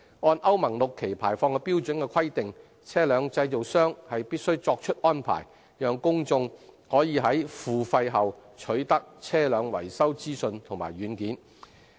按歐盟 VI 期排放標準的規定，車輛製造商須作出安排，讓公眾可以在付費後取得車輛維修資訊及軟件。